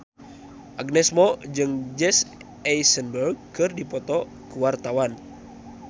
Agnes Mo jeung Jesse Eisenberg keur dipoto ku wartawan